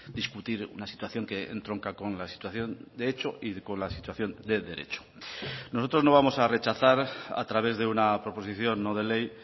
discutir una situación que entronca con la situación de hecho y con la situación de derecho nosotros no vamos a rechazar a través de una proposición no de ley